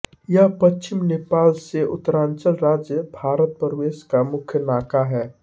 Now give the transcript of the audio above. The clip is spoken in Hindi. यह पश्चिम नेपाल से उतरांचल राज्य भारत प्रवेश का मुख्य नाका है